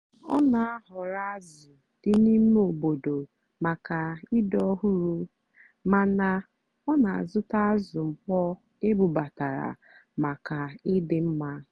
ọ́ nà-àhọ̀rọ́ ázụ́ dì n'íìmé óbòdò màkà ị́dì́ ọ́hụ́rụ́ màná ọ́ nà-àzụ́tá ázụ́ mkpọ́ ébúbátàrá màkà ị́dì́ mmá.